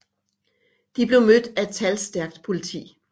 De blev mødt af et talstærkt politi